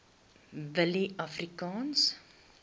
willieafrikaanse